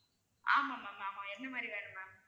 ஆமா ma'am ஆமா என்ன மாதிரி வேணும் ma'am